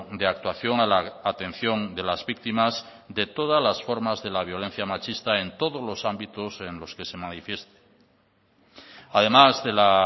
de actuación a la atención de las víctimas de todas las formas de la violencia machista en todos los ámbitos en los que se manifieste además de la